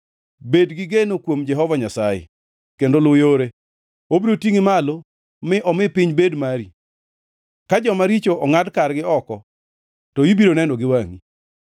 Bed gi geno kuom Jehova Nyasaye kendo luw yore. Obiro tingʼi malo mi omi piny bed mari; ka joma richo ongʼad kargi oko to ibiro neno gi wangʼi.